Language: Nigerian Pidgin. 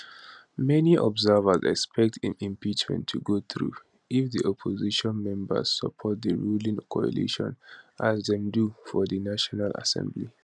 many observers expect im impeachment to go through if di opposition members support di ruling coalition as dem do for di national assembly